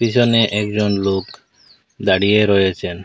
এখানে একজন লোক দাঁড়িয়ে রয়েছেন।